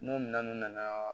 N'o minɛnw nana